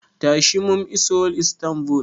Tashi, mun iso Istanbul.